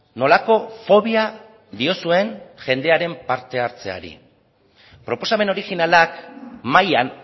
nolako fobia diozuen jendearen parte hartzeari proposamen originalak mahaian